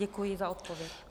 Děkuji za odpověď.